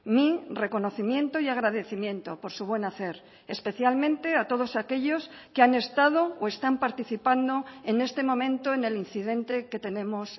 mi reconocimiento y agradecimiento por su buen hacer especialmente a todos aquellos que han estado o están participando en este momento en el incidente que tenemos